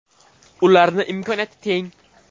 Ularni imkoniyati teng.